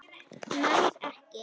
Nær ekki.